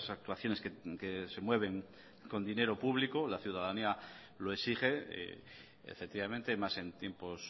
actuaciones que se mueven con dinero público la ciudadanía lo exige efectivamente más en tiempos